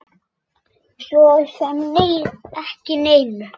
Svo sem ekki neinu.